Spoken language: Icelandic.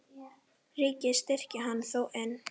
Ríkið styrkir hana þó enn.